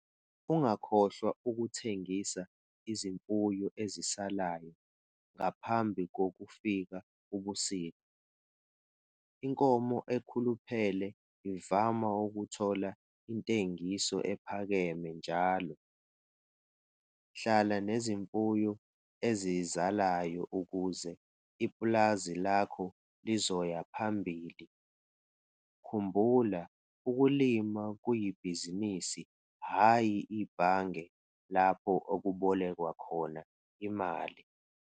Ungakhohlwa ukuthengisa izimfuyo eziseleyo ngaphambi kokufika ubusika - inkomo ekhuluphele ivama ukuthola intengiso ephakeme njalo. Hlala nezimfuyo ezisazalayo ukuze ipulazi lakho lizoya phambili - khumbula - ukulima kuyibhizinisi hhayi ibhange lapho kubekwa khona imali!